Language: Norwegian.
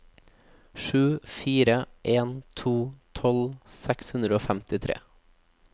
sju fire en to tolv seks hundre og femtitre